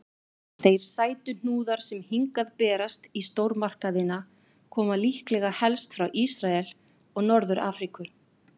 Þeir sætuhnúðar sem hingað berast í stórmarkaðina koma líklega helst frá Ísrael og Norður-Afríku.